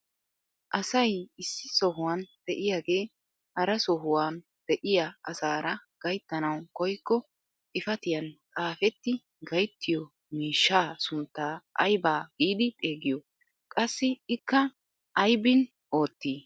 Asay issi sohuwaan de'iyaage hara sohuwaan de'iyaa asaara gayttanawu koyikko xifatiyaan xaafetti gayttiyoo miishshaa sunttaa ayba giidi xeegiyoo? qassi ikka aybin oottii?